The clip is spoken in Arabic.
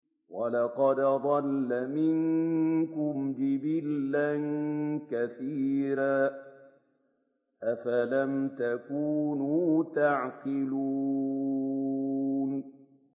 وَلَقَدْ أَضَلَّ مِنكُمْ جِبِلًّا كَثِيرًا ۖ أَفَلَمْ تَكُونُوا تَعْقِلُونَ